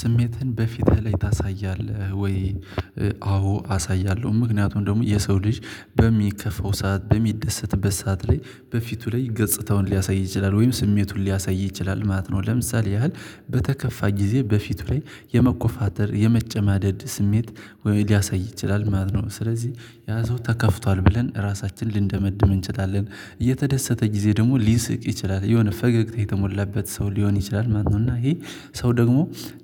ስሜትን በፊትህ ላይ ታሳያለህ ወይ? አዎ አሳያለሁ ምክንያቱም ደግሞ የሰው ልጅ በሚከፋው ሰዓት በሚደሰትበት ሰዓት ላይ በፊቱ ላይ ገጽታውን ሊያሳይ ይችላል ወይም ስሜቱን ሊያሳይ ይችላል ማለት ነው። ለምሳሌ ያህል በተከፋ ጊዜ በፊቱ ላይ የመኮፋተር የመጨማደድ ስሜት ሊያሳይ ይችላል ማለት ነው። ስለዚህ ያ ሰው ተከፍቷል ብለን ራሳችንን ልንደመድም እንችላለን። እየተደሰተ ጊዜ ደግሞ ሊስቅ ይችላል የሆነ ፈገግታ የተሞላበት ሰው ሊሆን ይችላል ማለት ነው። እና ይሄ ሰው ደግሞ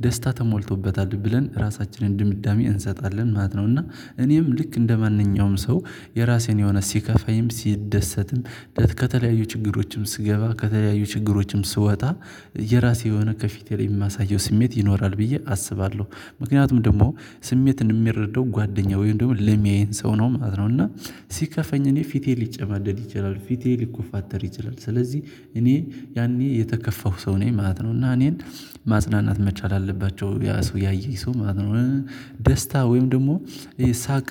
ደስታ ተሞልቶበታል ብለን ራሳችንን ድምዳሜ እንሰጣለን ማለት ነው። እና እኔም ልክ እንደማንኛውም ሰው የራሴን የሆነ ሲከፋይም ሲደሰትም ከተለያዩ ችግሮችም ስገባ ከተለያዩ ችግሮችም ስወጣ የራሴ የሆነ ከፊቴ ላይ ማሳየው ስሜት ይኖራል ብዬ አስባለሁ። ምክንያቱም ደግሞ ስሜትን የሚረደው ጓደኛ ወይም ደግሞ ለሚያየን ሰው ነው ማለት ነው። እና ሲከፋኝ እኔ ፊቴ ሊጨማደድ ይችላል ፊቴ ሊኮፋተር ይችላል። ስለዚህ እኔ ያኔ የተከፋሁ ሰው ነኝ ማለት ነው። እና እኔን ማጽናናት መቻል አለባቸው ያ ሰው ያየኝ ሰው ማለት ነው። ደስታ ወይም ደግሞ ይሄ ሳቅ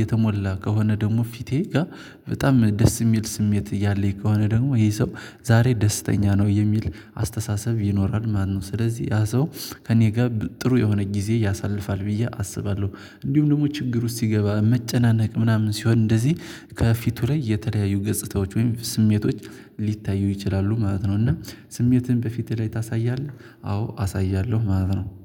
የተሞላ ከሆነ ደግሞ ፊቴ ጋ በጣም ደስ ሚል ስሜት እያለኝ ከሆነ ደግሞ ይሄ ሰው ዛሬ ደስተኛ ነው የሚል አስተሳሰብ ይኖራል። ማነው? ስለዚህ ያ ሰው ከእኔ ጋር ጥሩ የሆነ ጊዜ ያሳልፋል ብዬ አስባለሁ። እንዲሁም ደግሞ ችግር ውስጥ ሲገባ መጨናነቅ ምናምን ሲሆን እንደዚህ ከፊቱ ላይ የተለያዩ ገጽታዎች ወይም ስሜቶች ሊታዩ ይችላሉ ማለት ነው። እና ስሜትህን በፊትህ ላይ ታሳያለህ አዎ አሳያለሁ ማለት ነው